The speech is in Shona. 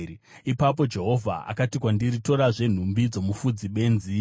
Ipapo Jehovha akati kwandiri, “Torazve nhumbi dzomufudzi benzi.